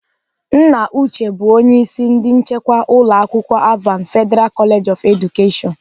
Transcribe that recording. Nna Uche bụ onye isi ndị nchekwa ụlọ akwụkwọ Alvan Federal College of Education.